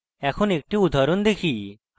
এখন একটি উদাহরণ দেখি